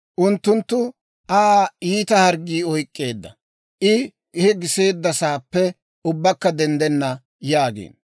Unttunttu «Aa iita harggii oyk'k'eedda; I he giseeddasaappe ubbakka denddenna» yaagiino.